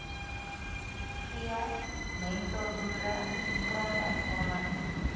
v mentorboere grondhervorming